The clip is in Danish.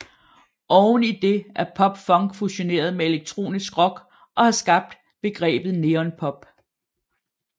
Oven i det er pop punk fusioneret med elektronisk rock og har skabt begrebet neon pop